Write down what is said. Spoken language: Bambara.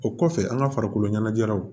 O kɔfɛ an ka farikolo ɲɛnajɛraw